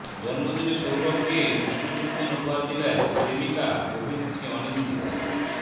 জন্মদিনে সৌরভকে উষ্ণ চুম্বন উপহার দিলেন প্রেমিকা অভিনেত্রী অনিন্দিতা